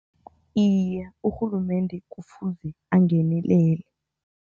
Iye, urhulumende kufuze angenelele.